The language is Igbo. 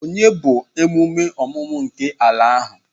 Onye bụ emume ọmụmụ nke ala ahụ?